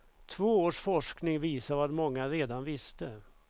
Två års forskning visar vad många redan visste.